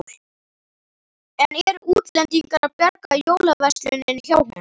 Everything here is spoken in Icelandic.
En eru útlendingar að bjarga jólaversluninni hjá honum?